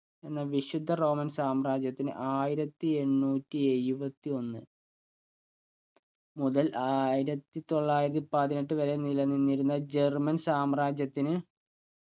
എന്ന വിശുദ്ധ roman സാമ്രാജ്യത്തിന് ആയിരത്തി എണ്ണൂറ്റി എഴുപത്തി ഒന്ന് മുതൽ ആയിരത്തി തൊള്ളായിരത്തി പതിനെട്ടു വരെ നിലനിന്നിരുന്ന german സാമ്രാജ്യത്തിന്